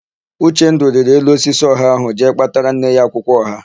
Uchendụ rịrị elu osisi ọha ahụ jee kpatara nne ya akwụkwọ ọha.